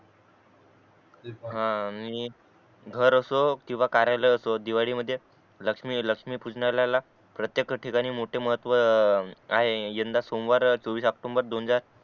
हा मी घर असो किंवा कार्यालय असो दिवाळी मध्ये लक्ष्मी लक्ष्मी पूजनाला प्रत्येक ठिकाणी मोठे महत्व आहे यंदा सोमवार चोवीस ओक्टोम्बर दोन हजार